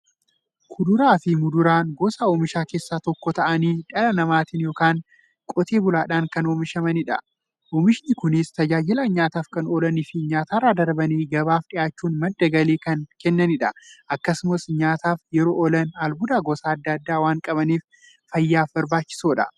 Kuduraafi muduraan gosa oomishaa keessaa tokko ta'anii, dhala namaatin yookiin Qotee bulaadhan kan oomishamaniidha. Oomishni Kunis, tajaajila nyaataf kan oolaniifi nyaatarra darbanii gabaaf dhiyaachuun madda galii kan kennaniidha. Akkasumas nyaataf yeroo oolan, albuuda gosa adda addaa waan qabaniif, fayyaaf barbaachisoodha.